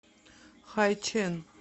хайчэн